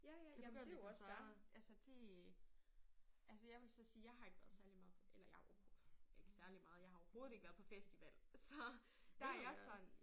Ja ja jamen det jo også fair. Altså det altså jeg vil så sige jeg har ikke været særlig meget på eller jeg har ikke særlig meget jeg har overhovedet ikke været på festival så der er jeg sådan